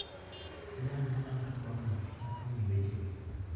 Jal malando twagno chako gi wechegi: